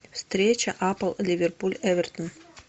встреча апл ливерпуль эвертон